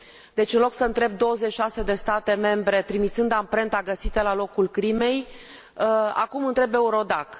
Deci, în loc să întrebi 26 de state membre, trimițând amprenta găsită la locul crimei, acum întrebi EURODAC.